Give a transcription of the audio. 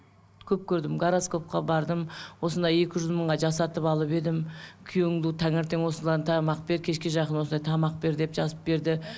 көп көрдім гороскопқа бардым осындай екі жүз мыңға жасатып алып едім күйеуіңді таңертең осыдан тамақ бер кешке жақын осындай тамақ бер деп жазып берді